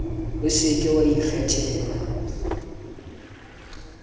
o se ke wa ikgatella